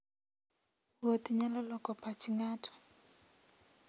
Wuoth nyalo loko pach ng'ato.